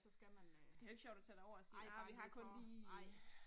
Så skal man øh. Ej nej, vi får, nej